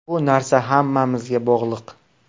Bu narsa hammamizga bog‘liq.